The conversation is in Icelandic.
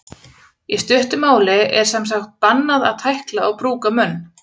Í stuttu máli er sem sagt bannað að tækla og brúka munn.